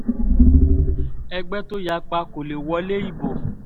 ẹgbẹ́ tó yapa kò lè wọlé ibo